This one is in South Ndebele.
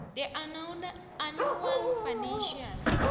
the annual financial